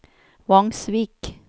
Vangsvik